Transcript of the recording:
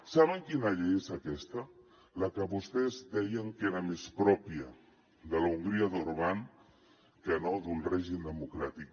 saben quina llei és aquesta la que vostès deien que era més pròpia de l’hongria d’orbán que no d’un règim democràtic